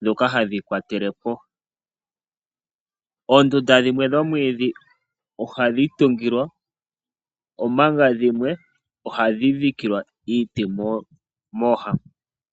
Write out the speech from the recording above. ndhoka hadhiyi kwateleko. Oondundu dhimwe dhomwiidhi ohadhi tungilwa omanga dhimwe ohadhi dhikilwa iiti mooha.